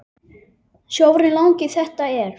Sjórinn langi þetta er.